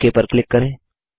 okay पर click करें